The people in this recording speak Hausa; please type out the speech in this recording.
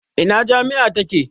Ina jami'a take?